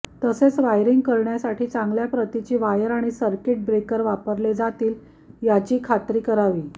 तसेच वायरिंग करण्यासाठी चांगल्या प्रतीची वायर आणि सर्किट ब्रेकर्स वापरले जातील याची खात्री करावी